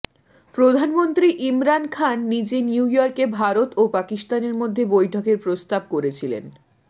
প্রধানমন্ত্রী ইমরান খান নিজে নিউ ইয়র্কে ভারত ও পাকিস্তানের মধ্যে বৈঠকের প্রস্তাব করেছিলেন